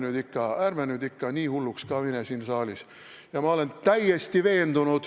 No kuulge, ärme nüüd ikka nii hulluks ka siin saalis lähme.